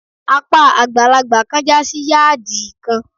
Apá àgbàlagbà kan jásí yádìì kan.